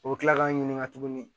O bɛ kila k'an ɲininka tuguni